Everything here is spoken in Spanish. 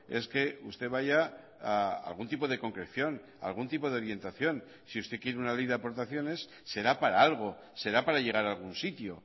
es que usted vaya a algún tipo de concreción a algún tipo de orientación si usted quiere una ley de aportaciones será para algo será para llegar a algún sitio